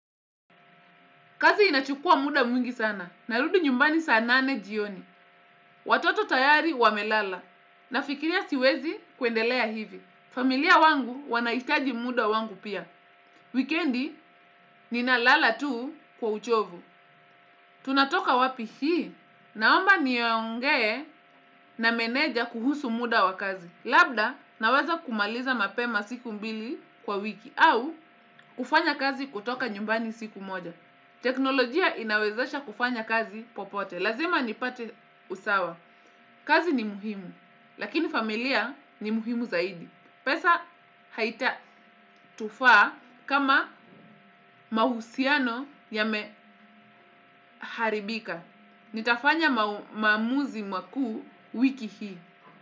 Kazi inachukua muda mwingi sana, narudi nyumbani saa nane jioni. Watoto tayari wamelala, nafikiria siwezi kuendelea hivi. Familia wangu wanahitaji muda wangu pia. Wikendi, ninalala tu kwa uchovu. Tunatoka wapi hii, naomba nionge na meneja kuhusu muda wakazi. Labda, naweza kumaliza mapema siku mbili kwa wiki, au kufanya kazi kutoka nyumbani siku moja. Teknolojia inawezasha kufanya kazi popote. Lazima nipate usawa. Kazi ni muhimu. Lakini familia ni muhimu zaidi. Pesa haita tufaa kama mahusiano yameharibika. Nitafanya mamuzi maku wiki hii.